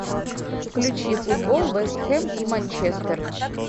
включи футбол вест хэм и манчестер